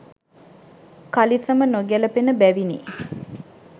කලිසම නොගැළපෙන බැවිනි.